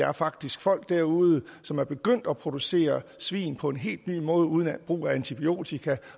er faktisk folk derude som er begyndt at producere svin på en helt ny måde uden brug af antibiotika